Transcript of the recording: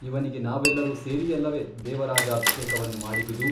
ಇವನಿಗೆ ನಾವೆಲ್ಲರೂ ಸೇರಿಯಲ್ಲವೆ ದೇವರಾಜಾಭಿಷೇಕವನ್ನು ಮಾಡಿದುದು?